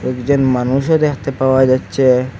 একজন মানুষও দেখতে পাওয়া যাচ্ছে।